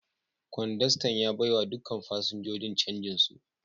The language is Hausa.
Kwandastan ya baiwa dukkan fasinjojin canjin su.